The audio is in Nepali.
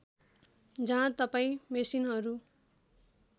जहाँ तपाईँ मेसिनहरू